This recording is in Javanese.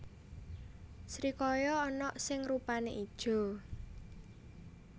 Srikaya ana sing rupané ijo